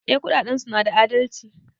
Eh kudadensu na da adalci.